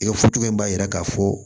I ka in b'a yira k'a fɔ